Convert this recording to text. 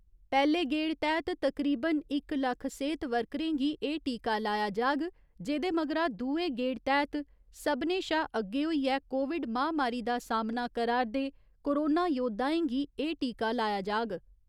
पैह्‌ले गेड़ तैह्त तकरीबन इक लक्ख सेह्‌त वर्करें गी एह् टीका लाया जाग जेह्दे मगरा दुए गेड़ तैह्त सभनें शा अग्गे होइयै कोविड महामारी दा सामना करा'रदे कोरोना योद्धाएं गी एह् टीका लाया जाग।